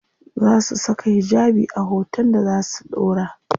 Za su saka hijabi a hoton da za su ɗora?